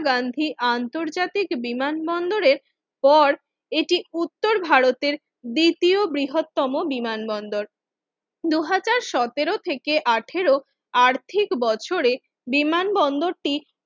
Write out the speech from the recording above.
গান্ধীর আন্তর্জাতিক বিমানবন্দরের পর এটি উত্তর ভারতের দ্বিতীয় বৃহত্তম বিমানবন্দর দুই হাজার সতেরো থেকেআঠারো আর্থিক বছরে বিমানবন্দর টি